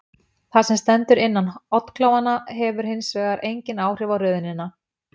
Það sem stendur innan oddklofanna hefur hins vegar engin áhrif á röðunina.